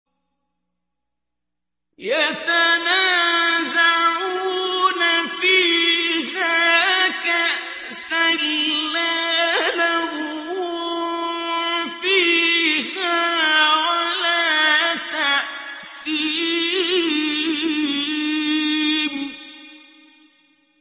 يَتَنَازَعُونَ فِيهَا كَأْسًا لَّا لَغْوٌ فِيهَا وَلَا تَأْثِيمٌ